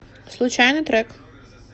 случайный трек